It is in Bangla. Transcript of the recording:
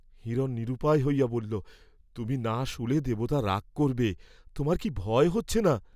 হিরণ নিরুপায় হইয়া বলিলেন, তুমি না শুলে দেবতা রাগ করবে, তোমার কি ভয় হচ্ছে না।